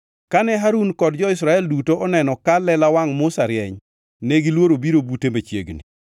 Kane Harun kod jo-Israel duto oneno ka lela wangʼ Musa rieny, negiluoro biro bute machiegni.